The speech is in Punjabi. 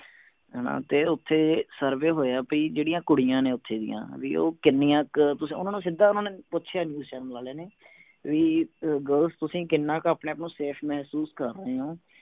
ਹਣਾ ਤੇ ਓਥੇ survey ਬਈ ਜਿਹੜੀਆਂ ਕੁੜੀਆਂ ਨੇ ਓਥੇ ਦੀਆਂ ਉਹ ਕਿੰਨੀਆਂ ਕ ਤੁਸੀਂ ਓਹਨਾ ਨੂੰ ਸਿੱਧਾ ਪੁਛਿਆ ਨਹੀਂ ਨੇ ਵੀ girls ਤੁਸੀਂ ਆਪਣੇ ਆਪ ਨੂੰ ਕਿੰਨਾ ਕੁ safe ਮਹਿਸੂਸ ਕਰਦੇ ਹੋ